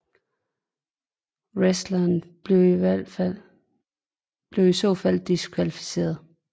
Wrestleren bliver i så fald diskvalificeret